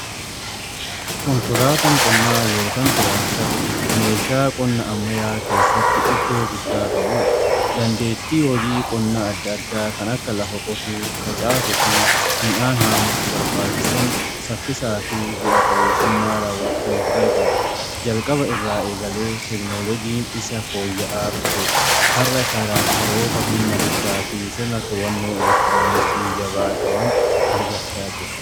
Konkolaatan qonnaa yookaan taraaktarri meeshaa qonna ammayyaa keessatti iddoo guddaa qabuudha. Dandeettii hojii qonnaa adda addaa kan akka lafa qotuu, facaasuu fi midhaan haamuuf barbaachisan saffisaa fi bu'a-qabeessummaan raawwachuuf gargaara. Jalqaba irraa eegalee teknooloojiin isa fooyya'aa dhufe har'a tiraaktaroota humna guddaa fi sirna to'annoo elektirooniksii jabaa qaban argachaa jira.